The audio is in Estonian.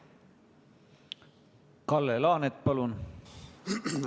Kalle Laanet, palun!